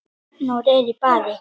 Arnór er í baði